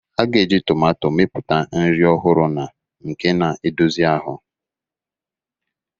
A ga-eji tomato mepụta nri ọhụrụ na nke na-edozi ahụ.